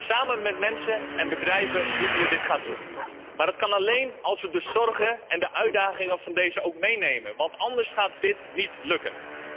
Samen met mensen en bedrijven moeten we dit gaan doen, maar dat kan alleen als we hun zorgen en uitdagingen ook meenemen want anders gaat dit niet lukken.